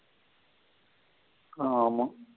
ஆமா.